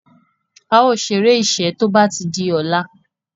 ào ṣeré iṣé tó bá dì ola.